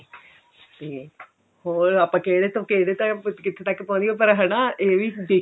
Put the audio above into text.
ਤੇ ਹੋਰ ਆਪਾਂ ਕਿਹੜੇ ਤੋਂ ਕਿਹੜੇ time ਕਿੱਥੇਂ ਤੱਕ ਪਹੁੰਚ ਗਏ ਪਰ ਹਨਾ ਇਹ ਵੀ